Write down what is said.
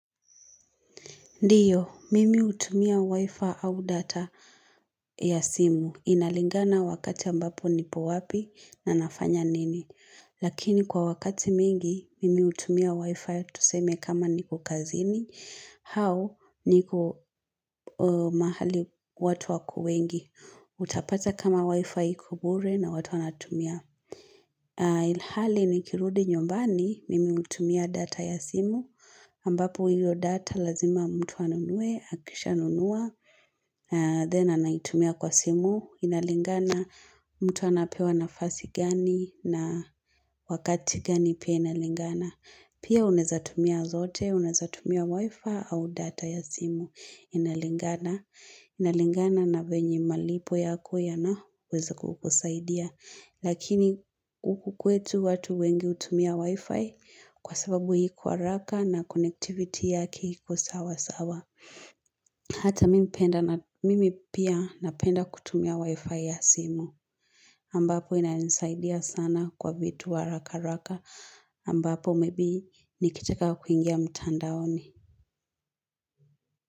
Ndiyo, mimi hutumia wifi au data ya simu inalingana wakati ambapo nipo wapi na nafanya nini. Lakini kwa wakati mingi, mimi hutumia wifi tuseme kama nipo kazini, hao niko mahali watu wengi. Utapata kama wifi iko bure na watu wanatumia. Ilhali nikirudi nyumbani mimi hutumia data ya simu ambapo hiyo data lazima mtu anunue, akisha nunua Then anaitumia kwa simu, inalingana mtu anapewa nafasi gani na wakati gani pia inalingana Pia unaeza tumia zote, unaeza tumia wifi au data ya simu inalingana Inalingana na venye malipo yako yanaweza kukusaidia Lakini uku kwetu watu wengi utumia wi-fi kwa sababu hiko haraka na connectivity yake iko sawa sawa Hata mimi pia napenda kutumia wi-fi ya simu ambapo inanisaidia sana kwa vitu haraka haraka ambapo maybe nikitaka kuingia mtandaoni.